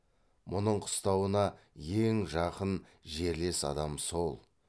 мұның қыстауына ең жақын жерлес адам сол